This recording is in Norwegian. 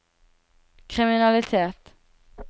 kriminalitet